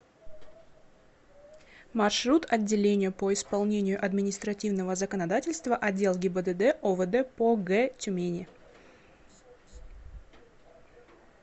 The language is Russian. маршрут отделение по исполнению административного законодательства отдел гибдд овд по г тюмени